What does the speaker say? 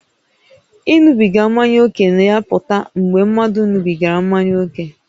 Ịṅụbiga mmanya ókè na-apụta mgbe mmadụ ṅụbigara mmanya ókè